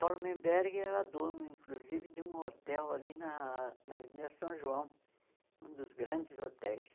Paulo Menberg era dono, inclusive, de um hotel ali na Avenida São João, um dos grandes hotéis.